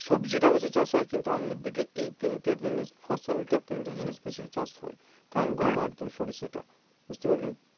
সবজি বেশি চাষ হয় কিন্তু আমাদের দিকে এই তিনটি জিনিস ফসল তা তিনটে জিনিস বেশি চাষ হয় ধান গম আর সরিষা টা